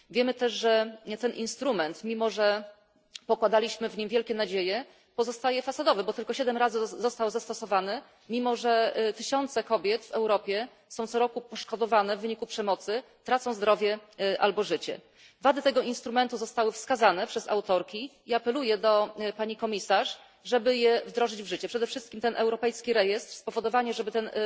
Wiemy też, że ten instrument, mimo że pokładaliśmy w nim wielkie nadzieje, pozostaje fasadowy, bo tylko siedem razy został zastosowany, mimo że tysiące kobiet w Europie są co roku poszkodowane w wyniku przemocy, tracą zdrowie albo życie. Wady tego instrumentu zostały wskazane przez autorki i apeluję do Pani Komisarz, żeby je wdrożyć w życie. Przede wszystkim ten europejski rejestr, spowodowanie, żeby ten